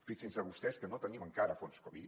fixin se vostès que no tenim encara fons covid